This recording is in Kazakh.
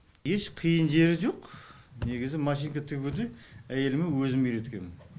еш қиын жері жоқ негізі машинка тігуді әйеліме өзім үйреткем